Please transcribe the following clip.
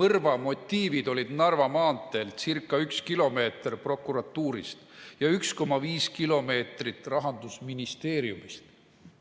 mõrva motiivid olid Narva maanteelt ca 1 km prokuratuurist ja 1,5 km rahandusministeeriumist eemal.